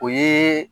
O ye